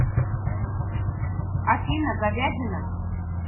афина говядина